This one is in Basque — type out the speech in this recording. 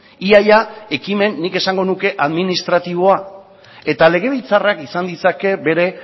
ia ia ekimen nik esango nuke administratiboa eta legebiltzarrak izan ditzake bere